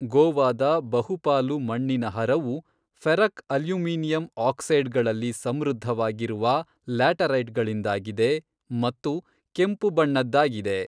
ಗೋವಾದ ಬಹುಪಾಲು ಮಣ್ಣಿನ ಹರವು ಫೆರಕ್ ಅಲ್ಯೂಮಿನಿಯಂ ಆಕ್ಸೈಡ್ಗಳಲ್ಲಿ ಸಮೃದ್ಧವಾಗಿರುವ ಲ್ಯಾಟರೈಟ್ಗಳಿಂದಾಗಿದೆ ಮತ್ತು ಕೆಂಪು ಬಣ್ಣದ್ದಾಗಿದೆ.